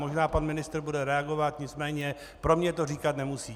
Možná pan ministr bude reagovat, nicméně pro mě to říkat nemusí.